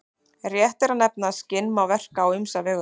Rétt er að nefna að skinn má verka á ýmsa vegu.